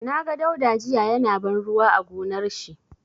Na ga Dauda jiya ya na ban ruwa a gonar shi.